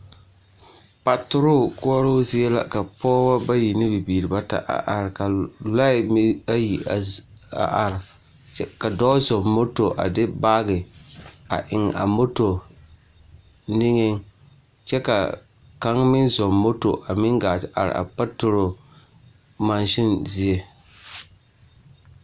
Patrol koɔro zie la ka pɔgeba bayi ne bibiiri a are ka lɔɛ meŋ ayi a are kyɛ ka dɔɔ zuŋɛ moto a de baagi a eŋe a moto niŋɛ kyɛ ka kaŋa meŋ zʋŋɛ moto a gaa te are a patrol maasen zie